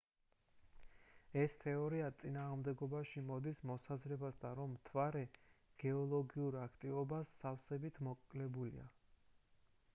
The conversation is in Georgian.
ეს თეორია წინააღმდეგობაში მოდის მოსაზრებასთან რომ მთვარე გეოლოგიურ აქტივობას სავსებით მოკლებულია